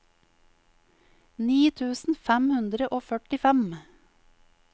ni tusen fem hundre og førtifem